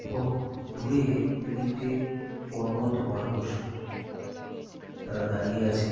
এবং দূরে দু তিনটে কর্মরত মানুষ তারা দাঁড়িয়ে আছে ।